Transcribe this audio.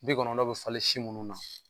Bi kɔnɔndɔn bɛ falen si minnu na